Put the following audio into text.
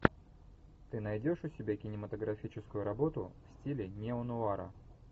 ты найдешь у себя кинематографическую работу в стиле неонуара